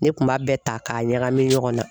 Ne kun b'a bɛɛ ta k'a ɲagami ɲɔgɔn na .